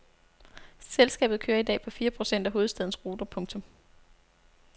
Selskabet kører i dag på fire procent af hovedstadens ruter. punktum